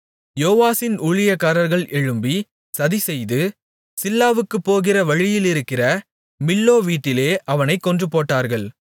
யோவாசின் ஊழியக்காரர்கள் எழும்பி சதிசெய்து சில்லாவுக்குப் போகிற வழியிலிருக்கிற மில்லோ வீட்டிலே அவனைக் கொன்றுபோட்டார்கள்